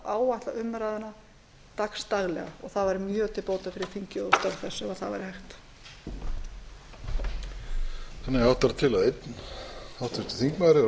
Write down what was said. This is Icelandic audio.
áætla umræðuna frá degi til dags og það væri mjög til bóta fyrir þingið og störf þess ef það væri hægt